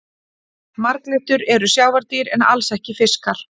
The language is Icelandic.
Marglyttur eru sjávardýr en alls ekki fiskar.